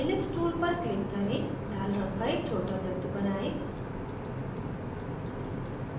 ellipse tool पर click करें लाल रंग का एक छोटा वृत्त बनाएं